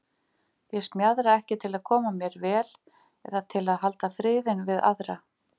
Ég smjaðra ekki til að koma mér vel eða til að halda friðinn við aðra.